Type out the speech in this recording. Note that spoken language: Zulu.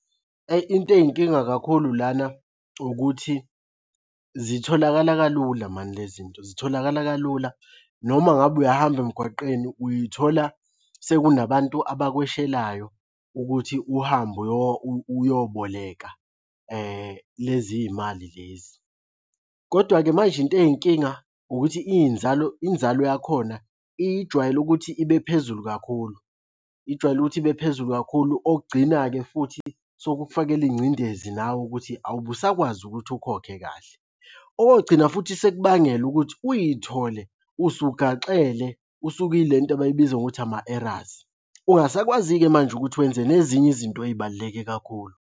Ayi into ey'nkinga kakhulu lana ukuthi zitholakala kalula mani le zinto zitholakala kalula, noma ngabe uyahamba emgwaqeni uy'thola sekunabantu abakweshelayo ukuthi uhambe uyoboleka lezi iy'mali lezi, kodwa-ke manje into ey'nkinga ukuthi iy'nzalo inzalo yakhona ijwayele ukuthi ibe phezulu kakhulu. Ijwayele ukuthi ibe phezulu kakhulu okugcina-ke futhi, sokukufakela ingcindezi nawe ukuthi awube usakwazi ukuthi ukhokhe kahle. Okogcina futhi sekubangela ukuthi uy'thole usugaxele usukwile nto abayibiza ngokuthi ama-arrears. Ungasakwazi-ke manje ukuthi wenze nezinye izinto ey'baluleke kakhulu.